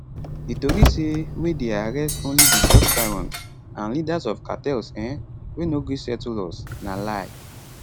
di tori say wey dey arrest only di drug barons and leaders of cartels um wey no gree settle us na lie